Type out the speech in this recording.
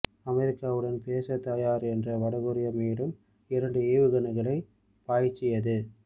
அமெரிக்காவுடன் பேசத் தயார் என்ற வடகொரியா மேலும் இரண்டு ஏவுகணைகளைப் பாய்ச்சியது